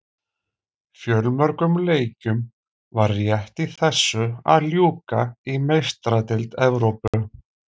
Fjölmörgum leikjum var rétt í þessu að ljúka í Meistaradeild Evrópu.